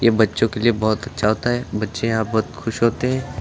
बच्चों के लिए बहुत अच्छा होता है बच्चे यहां बहुत खुश होते हैं।